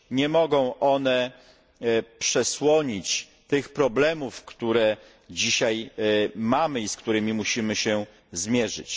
Nie mogą one przesłonić tych problemów, które dzisiaj mamy i z którymi musimy się zmierzyć.